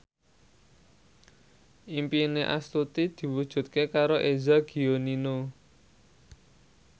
impine Astuti diwujudke karo Eza Gionino